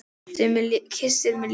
Kyssir mig létt.